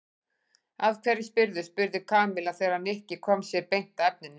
Af hverju spyrðu? spurði Kamilla þegar Nikki kom sér beint að efninu.